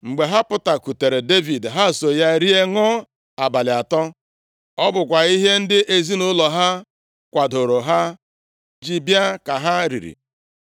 Mgbe ha pụkwutere Devid, ha so ya rie, ṅụọ, abalị atọ. Ọ bụkwa ihe ndị ezinaụlọ ha kwadoro ha ji bịa ka ha riri.